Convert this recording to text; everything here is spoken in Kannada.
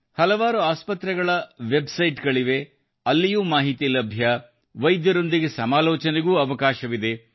ಹಲವಾರು ಆಸ್ಪತ್ರೆಗಳ ವೆಬ್ ಸೈಟ್ ಗಳಿವೆ ಅಲ್ಲಿ ಮಾಹಿತಿಯೂ ಲಭ್ಯ ಮತ್ತು ವೈದ್ಯರೊಂದಿಗೆ ಸಮಾಲೋಚನೆಗೂ ಅವಕಾಶವಿದೆ